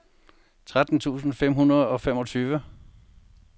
tretten tusind fem hundrede og femogtyve